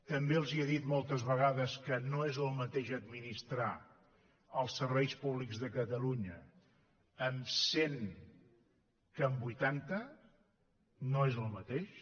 també els he dit moltes vegades que no és el mateix administrar els serveis públics de catalunya amb cent que amb vuitanta no és el mateix